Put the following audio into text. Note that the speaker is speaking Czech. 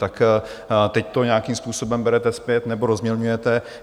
Tak teď to nějakým způsobem berete zpět nebo rozmělňujete.